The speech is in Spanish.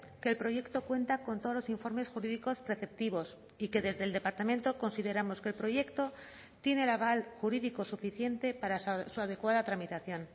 que el proyecto cuenta con todos los informes jurídicos preceptivos y que desde el departamento consideramos que el proyecto tiene el aval jurídico suficiente para su adecuada tramitación